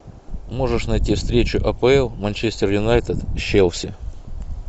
можешь найти встречу апл манчестер юнайтед с челси